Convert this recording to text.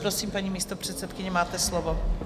Prosím, paní místopředsedkyně, máte slovo.